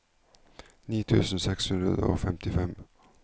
ni tusen seks hundre og femtifem